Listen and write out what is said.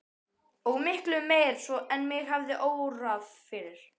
Og miklu meira svo en mig hafði órað fyrir.